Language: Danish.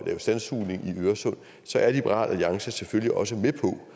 lave sandsugning i øresund så er liberal alliance selvfølgelig også med på